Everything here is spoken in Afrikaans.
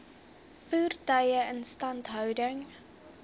voertuie instandhouding